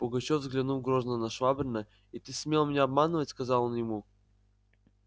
пугачёв взглянул грозно на швабрина и ты смел меня обманывать сказал он ему